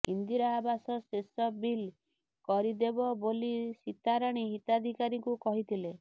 ଇନ୍ଦିରା ଆବାସ ଶେଷ ବିଲ୍ କରି ଦେବ ବୋଲି ସୀତାରାଣୀ ହିତାଧିକାରୀଙ୍କୁ କହିଥିଲେ